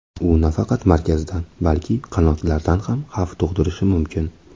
U nafaqat markazdan, balki qanotlardan ham xavf tug‘dirishi mumkin.